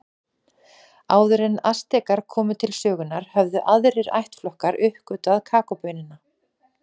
Áður en Astekar komu til sögunnar höfðu aðrir ættflokkar uppgötvað kakóbaunina.